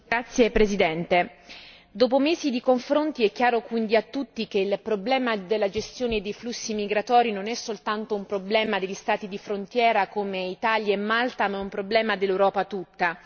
Signora Presidente, onorevoli colleghi, dopo mesi di confronti è chiaro quindi a tutti che il problema della gestione dei flussi migratori non è soltanto un problema degli Stati di frontiera, come Italia e Malta, ma è un problema dell'Europa tutta.